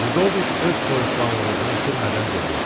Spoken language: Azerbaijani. Lidovik öz soyuqqanlılığını itirmədən dedi.